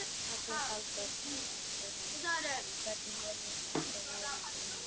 Magnús Halldórsson: En hvernig horfir þetta við þér núna?